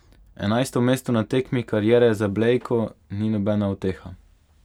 Enajsto mesto na tekmi kariere za Blejko ni nobena uteha.